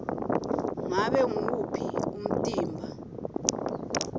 ngabe nguwuphi umtimba